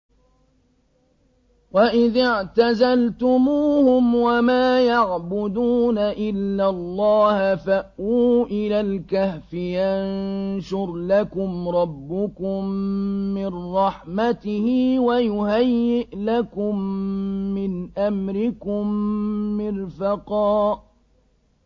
وَإِذِ اعْتَزَلْتُمُوهُمْ وَمَا يَعْبُدُونَ إِلَّا اللَّهَ فَأْوُوا إِلَى الْكَهْفِ يَنشُرْ لَكُمْ رَبُّكُم مِّن رَّحْمَتِهِ وَيُهَيِّئْ لَكُم مِّنْ أَمْرِكُم مِّرْفَقًا